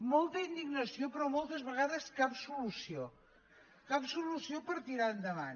molta indignació però moltes vegades cap solució cap solució per tirar endavant